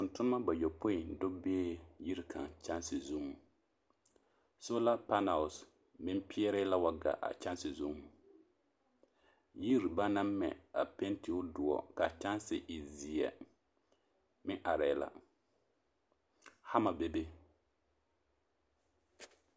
Tontonema bayɔpoi do bee yiri kaŋa kyããse zuŋ, sola panɛl meŋ peɛrɛɛ la wa gaa a kyããse zuŋ, yiri banaŋ mɛ a penti o doɔ k'a kyɛnse e zeɛ meŋ arɛɛ la, hama bebe.